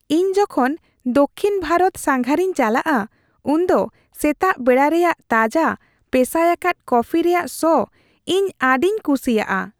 ᱤᱧ ᱡᱚᱠᱷᱚᱱ ᱫᱚᱠᱠᱷᱤᱱ ᱵᱷᱟᱨᱚᱛ ᱥᱟᱸᱜᱷᱟᱨᱤᱧ ᱪᱟᱞᱟᱜᱼᱟ ᱩᱱᱫᱚ ᱥᱮᱛᱟᱜ ᱵᱮᱲᱟ ᱨᱮᱭᱟᱜ ᱛᱟᱡᱟ ᱯᱮᱥᱟᱭ ᱟᱠᱟᱫ ᱠᱚᱯᱷᱤ ᱨᱮᱭᱟᱜ ᱥᱚ ᱤᱧ ᱟᱹᱰᱤᱧ ᱠᱩᱥᱤᱭᱟᱜᱼᱟ ᱾